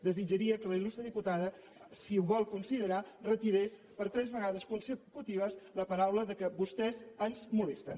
desitjaria que la il·lustre diputada si ho vol considerar retirés per tres vegades consecutives les paraules vostès ens molesten